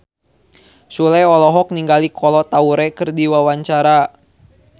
Sule olohok ningali Kolo Taure keur diwawancara